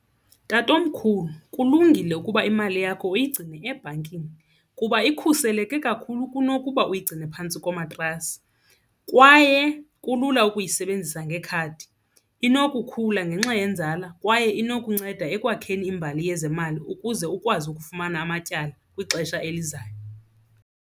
Tatomkhulu kulungile ukuba imali yakho uyigcine ebhankini kuba ikhuseleke kakhulu kunokuba uyigcine phantsi komatrasi. Kwaye kulula ukuyisebenzisa ngekhadi, inokukhula ngenxa yenzala kwaye inokunceda ekwakheni imbali yezemali ukuze ukwazi ukufumana amatyala kwixesha elizayo.